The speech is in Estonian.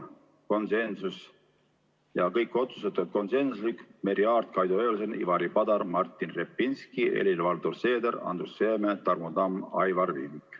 Kõik otsused olid konsensuslikud, poolt hääletasid Merry Aart, Kaido Höövelson, Ivari Padar, Martin Repinski, Helir-Valdor Seeder, Andrus Seeme, Tarmo Tamm ja Aivar Viidik.